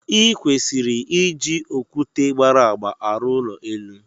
I kwesịrị iji okwute gbara agba arụ ụlọ elu.